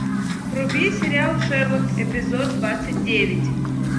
вруби сериал шерлок эпизод двадцать девять